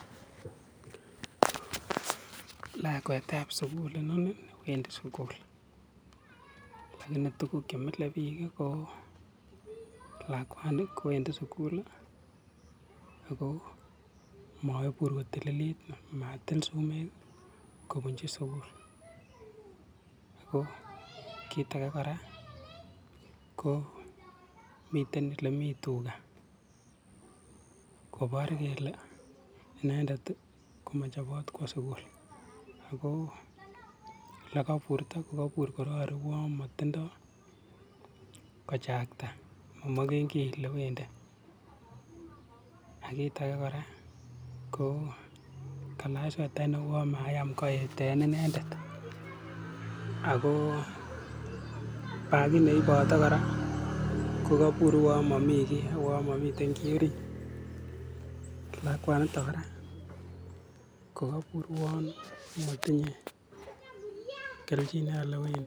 Lakwetab sukul inoni wendi sukul, alakini tuguk chemilen biik eng yu ko lakwani kowendi sukul ako maipuur kotililit, matil sumek kobunchi sukul. Ko kiitake kora komiten ole tuga kopar kele inendet komachopot kowo sukul ako ole kaipuurto kaipuur korori kuyon matindoi kochakta, mamakenkei ole wendi ako kiit ake kora ko kailach swetait neuon mayam kaet eng inendet ako bakit ne ipote kora kaipur kuyon mami kei uon mamitei kiiy ariit. Lakwanito kora kokaipuur uon matinyei kelchin eng ole wendi.